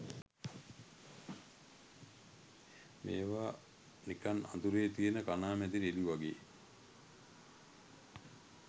මේවා නිකන් අඳුරේ තියෙන කණාමැදිරි එලි වගේ.